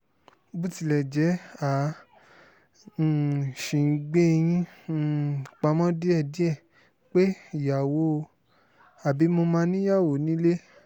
bó tilẹ̀ jẹ́ a um ṣì ń gbé yín um pamọ́ díẹ̀díẹ̀ pé ìyàwó ò àbí mo mà níyàwó nílé